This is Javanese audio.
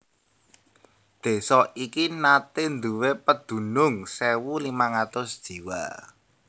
Désa iki naté nduwé pedunung sewu limang atus jiwa